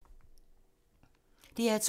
DR2